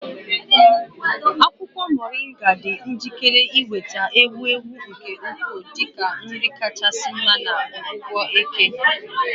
Akwukwo Moringa dị njikere inweta ewu ewu nke ukwuu dị ka nri kachasị mma na ọgwụgwọ eke.